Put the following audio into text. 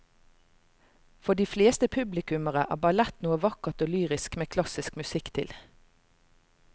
For de fleste publikummere er ballett noe vakkert og lyrisk med klassisk musikk til.